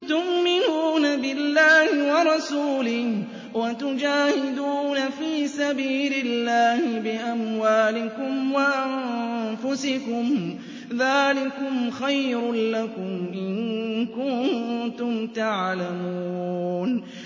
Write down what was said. تُؤْمِنُونَ بِاللَّهِ وَرَسُولِهِ وَتُجَاهِدُونَ فِي سَبِيلِ اللَّهِ بِأَمْوَالِكُمْ وَأَنفُسِكُمْ ۚ ذَٰلِكُمْ خَيْرٌ لَّكُمْ إِن كُنتُمْ تَعْلَمُونَ